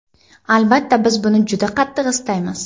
Albatta, biz buni juda qattiq istaymiz.